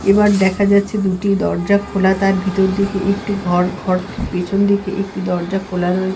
এবার দেখা যাচ্ছে দুটি দরজা খোলা তার ভিতর দিকে একটি ঘর ঘরটির পেছনদিকে একটি দরজা খোলা রয়ে--